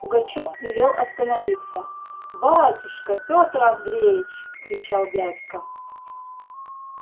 пугачёв велел остановиться батюшка пётр андреич кричал дядька